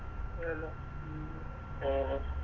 ആന്നോ ഉം ഉം ഓ ഓ